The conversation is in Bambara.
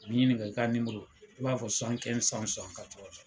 U b'i ɲininka i ka i b'a fɔ